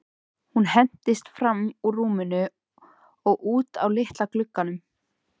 Hún hentist fram úr rúminu og út að litla glugganum.